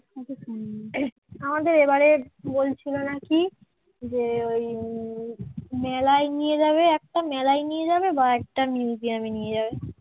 বলছিল নাকি যে ওই উম মেলায় নিয়ে যাবে একটা মেলায় নিয়ে যাবে বা একটা museum নিয়ে যাবে।